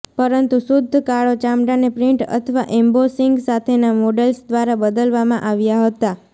પરંતુ શુદ્ધ કાળો ચામડાને પ્રિન્ટ અથવા એમ્બોસીંગ સાથેના મોડેલ્સ દ્વારા બદલવામાં આવ્યા હતા